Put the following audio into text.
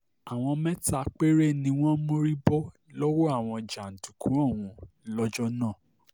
àwọn mẹ́ta péré ni wọ́n mórí bọ́ lọ́wọ́ àwọn jàǹdùkú ọ̀hún lọ́jọ́ náà